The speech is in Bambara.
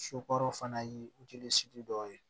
Sokɔrɔ fana ye dɔw ye